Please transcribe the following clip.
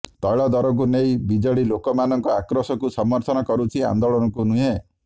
ତୈଳ ଦରକୁ ନେଇ ବିଜେଡି ଲୋକମାନଙ୍କ ଆକ୍ରୋଶକୁ ସମର୍ଥନ କରୁଛି ଆନ୍ଦୋଳନକୁ ନୁହେଁ